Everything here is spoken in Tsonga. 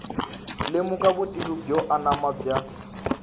lemuka vutivi byo anama bya